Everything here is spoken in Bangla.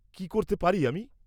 -কী করতে পারি আমি?